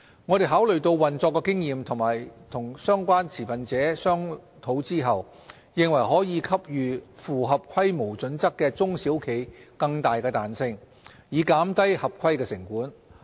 我們考慮到運作經驗及與相關持份者商討後，認為可給予符合規模準則的中小企更大彈性，以減低合規成本。